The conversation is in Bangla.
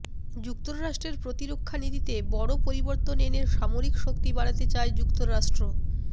যুক্তরাষ্ট্রের প্রতিরক্ষা নীতিতে বড় পরিবর্তন এনে সামরিক শক্তি বাড়াতে চায় যুক্তরাষ্ট্র